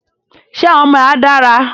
Ṣe àwọn ọmọ ẹ a dára?